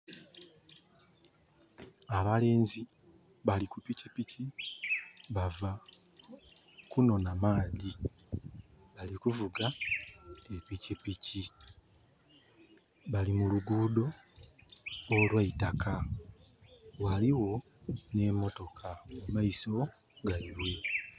Abalenzi bali ku pikipiki bava kunonha maadhi bali kuvuga epikipiki, bali muluguudo olweitaka ghaligho nhe motoka mu maiso gaibwe.